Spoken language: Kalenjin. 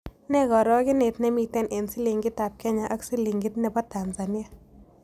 Nee karogenet ne miten eng' silingiitap kenya ak silingiit ne bo tanzania